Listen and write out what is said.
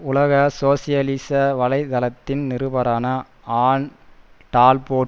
உலக சோசியலிச வலை தளத்தின் நிருபரான ஆன் டால்போட்